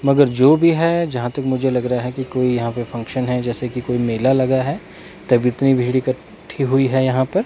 मगर जो भी है जहां तक मुझे लग रहा है कि कोई यहां पे फंक्शन है जैसे की कोई मेला लगा है तब इतनी भीड़ इकट्ठी हुई है यहां पर--